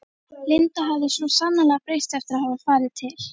Linda hafði svo sannarlega breyst eftir að hafa farið til